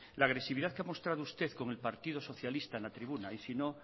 la agresividad que ha mostrado usted con el partido socialista en la tribuna y si no